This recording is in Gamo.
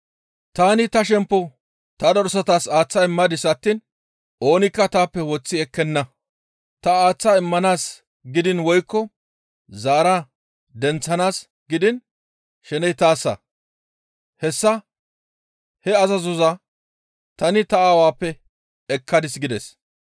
Tani ta shemppo ta dosara aaththa immadis attiin oonikka taappe woththi ekkenna; ta aaththa immanaas gidiin woykko zaara denththanaas gidiin sheney taassa; hessa he azazoza tani ta Aawappe ekkadis» gides.